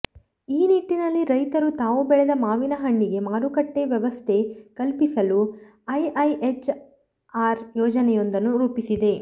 ಈ ನಿಟ್ಟಿನಲ್ಲಿ ರೈತರು ತಾವು ಬೆಳೆದ ಮಾವಿನ ಹಣ್ಣಿಗೆ ಮಾರುಕಟ್ಟೆವ್ಯವಸ್ಥೆ ಕಲ್ಪಿಸಲು ಐಐಎಚ್ಆರ್ ಯೋಜನೆಯೊಂದನ್ನು ರೂಪಿಸಿದೆ